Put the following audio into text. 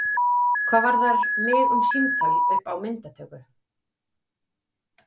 Hvað varðar mig um símtal upp á myndatöku?